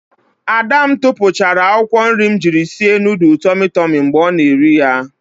Ada m tupuchara akwukwo nri m jiri sie nudul tomi tomi mgbe ọ na-eri ya.